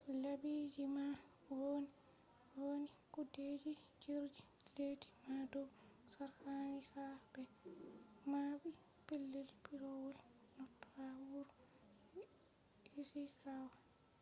laabiji man vonnii kudeeji jirgi leddii ma dow sarkanii ha be maɓɓi pelell piiroowol noto ha wuro ishikawa